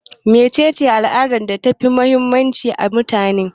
Me cece al'adar da ta fi muhimmanci a mutuwa?